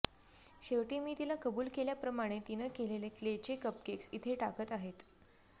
शेवटी मी तिला कबुल केल्याप्रमाणे तिनं केलेले क्लेचे कपकेक्स इथे टाकत आहेत